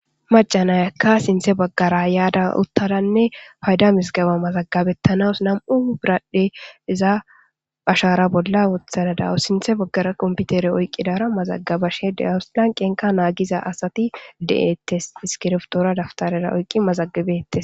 Macanayakka sinthe baggara yaada uttadanne payda misgaba mazagabettanas nam7u biradhdhe iza hashara bolla wothanadawu sinthe baggara qomputere oyqqidara mazagabashe de awuslanqenka naagiza asati de7ettes iskirftoora daftarera oyqqi mazagabettes.